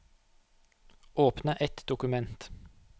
Åpne et dokument